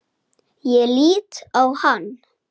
Ég lít á hana.